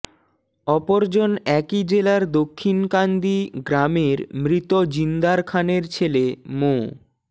অপরজন একই জেলার দক্ষিণকান্দি গ্রামের মৃত জিন্দার খানের ছেলে মো